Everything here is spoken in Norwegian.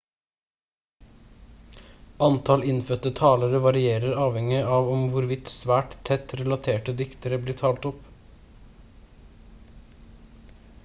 antall innfødte talere varierer avhengig av om hvorvidt svært tett relaterte dialekter blir talt opp